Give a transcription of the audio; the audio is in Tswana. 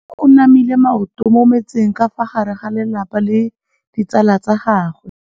Mme o namile maoto mo mmetseng ka fa gare ga lelapa le ditsala tsa gagwe.